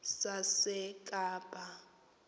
sasekapa